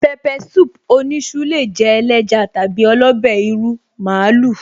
Pepper soup oníṣu lè jẹ́ ẹléja tàbí ọlọ́bẹ́ ìrù màálù